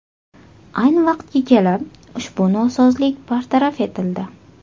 Ayni vaqtga kelib, ushbu nosozlik bartaraf etildi.